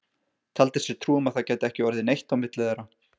Taldi sér trú um að það gæti ekki orðið neitt á milli þeirra.